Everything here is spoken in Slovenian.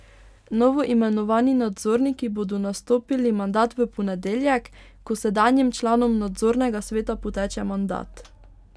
Novoimenovani nadzorniki bodo nastopili mandat v ponedeljek, ko sedanjim članom nadzornega sveta poteče mandat.